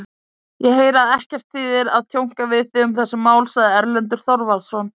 Ég heyri að ekkert þýðir að tjónka við þig um þessi mál, sagði Erlendur Þorvarðarson.